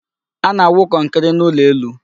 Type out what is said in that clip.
A na-awụ kọnkri n'ụlọ elu.